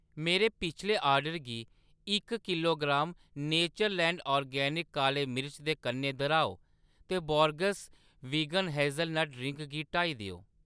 मेरे पिछले आर्डर गी इक किलोग्राम नेचरलैंड ऑर्गेनिक्स काले मर्च दे कन्नै दर्‌हाओ ते बोर्गेस्स वीगन हेज़लनट पेय गी हटाई देओ।